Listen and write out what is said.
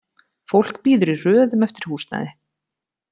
Fólk bíður í röðum eftir húsnæði.